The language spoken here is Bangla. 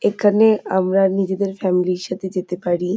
এখানে আমরা নিজেদের ফ্যামিলি - র সাথে যেতে পারি।